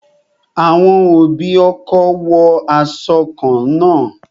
Àwọn òbí ọkọ wo aṣọ kan náà